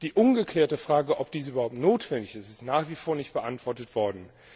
Die ungeklärte Frage, ob diese überhaupt notwendig ist, ist nach wie vor nicht beantwortet worden.